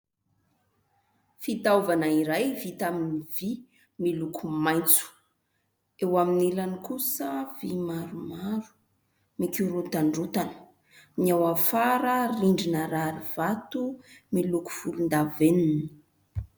Fitaovana iray vita amin'ny vy miloko maitso. Eo amin'ny ilany kosa vy maromaro mikorontandrontana ny ao afara rindrina rarivato miloko volondavenona.